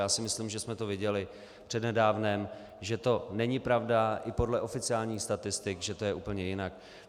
Já si myslím, že jsme to viděli přednedávnem, že to není pravda i podle oficiálních statistik, že to je úplně jinak.